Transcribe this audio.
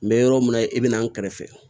N bɛ yɔrɔ min na i bɛ na n kɛrɛfɛ